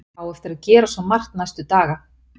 Á eftir að gera svo margt næstu daga.